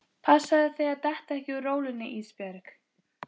Passaðu þig að detta ekki úr rólunni Ísbjörg.